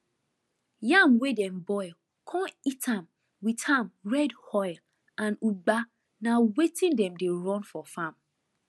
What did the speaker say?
yam wey dem boil con eat am with am red oil and ugba na wetin dem dey run for farm